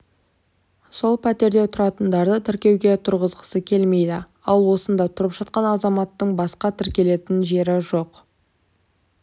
сол пәтерде тұратындарды тіркеуге тұрғызғысы келмейді ал осында тұрып жатқан азаматтың басқа тіркелетін жері жоқ